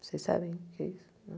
Vocês sabem o que é isso?